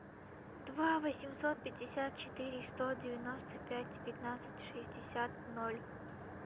два восемьсот пятьдесят четыре сто девяносто пять пятнадцать шестьдесят ноль